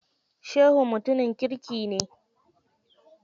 Shehu mutumin kirki ne.